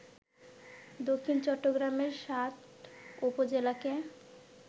দক্ষিণ চট্টগ্রামের সাত উপজেলাকে